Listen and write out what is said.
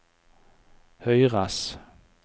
høyres